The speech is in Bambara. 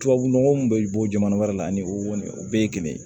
Tubabu nɔgɔ mun bɛ bɔ jamana wɛrɛ la ani o kɔni o bɛɛ ye kelen ye